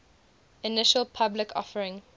initial public offering